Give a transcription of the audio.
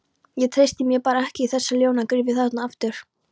Ég treysti mér bara ekki í þessa ljónagryfju þarna aftur.